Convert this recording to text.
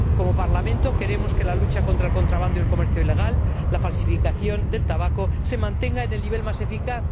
Como Parlamento, queremos que la lucha contra el contrabando, el comercio ilegal y la falsificación del tabaco se mantenga en el nivel más eficaz